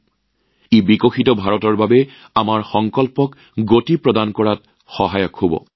ইয়াৰ দ্বাৰা উন্নত ভাৰতৰ আমাৰ সংকল্প সম্পন্ন কৰাৰ গতিত এক উদ্গনি দিব